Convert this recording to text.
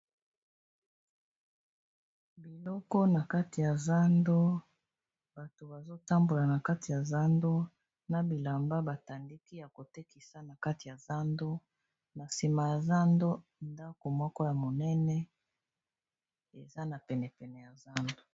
biloko na kati ya zando bato bazotambola na kati ya zando na bilamba batandiki ya kotekisa na kati ya zando na nsima ya zando ndako moko ya monene eza na penepene ya zando